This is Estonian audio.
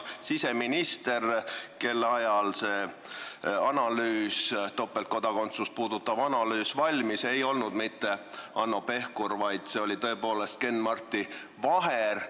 Siseminister, kelle ajal see topeltkodakondsust puudutav analüüs valmis, ei olnud mitte Hanno Pevkur, vaid see oli tõepoolest Ken-Marti Vaher.